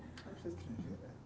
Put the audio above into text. Você é estrangeira?